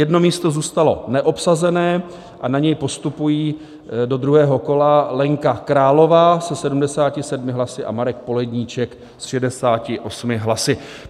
Jedno místo zůstalo neobsazené a na něj postupují do druhého kola Lenka Králová se 77 hlasy a Marek Poledníček s 68 hlasy.